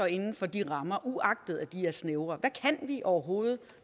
inden for de rammer uagtet at de er snævre hvad kan vi overhovedet